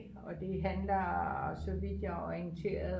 og det handler så vidt jeg er orienteret